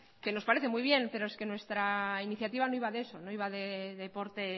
que nos parece muy bien pero es que nuestra iniciativa no iba de eso no iba de deporte